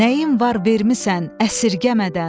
Nəyim var vermisən əsirgəmədən.